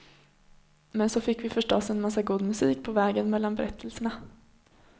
Men så fick vi förstås en massa god musik på vägen mellan berättelserna.